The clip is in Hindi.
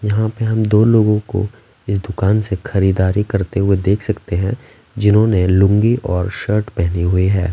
यहाँ पे हम दो लोगों को इस दुकान से खरीदारी करते हुए देख सकते हैं जिन्होंने लूंगी और शर्ट पहनी हुई हैं।